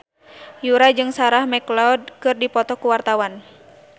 Yura jeung Sarah McLeod keur dipoto ku wartawan